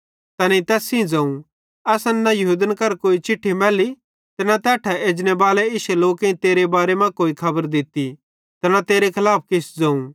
तैनेईं तैस सेइं ज़ोवं असन यहूदन करां न कोई चिट्ठी मैल्ली ते न तैट्ठां एजनेबाले इश्शे लोकेईं तेरे बारे मां कोई खबर दित्ती ते न तेरे खलाफ किछ ज़ोवं